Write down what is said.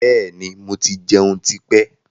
Bẹ́ẹ̀ni, mo ti jẹun tí pẹ́.